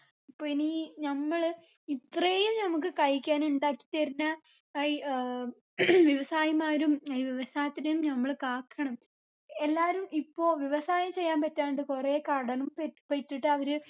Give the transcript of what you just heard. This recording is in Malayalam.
അപ്പൊ ഇനി നമ്മള് ഇത്രയും നമ്മക്ക് കഴിക്കാൻ ഇണ്ടാക്കി തരുന്ന ഏർ ഇ ആഹ് വ്യവസായിമാരും ഏർ വ്യവസായത്തിനെയും നമ്മള് കാക്കണം എല്ലാരും ഇപ്പൊ വ്യവസായം ചെയ്യാൻ പറ്റാണ്ട് കുറേ കടും പെറ്റി പറ്റിട്ട് അവര്